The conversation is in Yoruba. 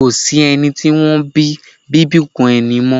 Ko sí ẹni tí wọ́n bí bíbùnkún ẹni mọ́.